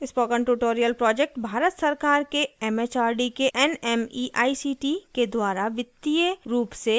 spoken tutorial project Bharat सरकार के MHRD के nmeict के द्वारा वित्तीय रूप से समर्थित है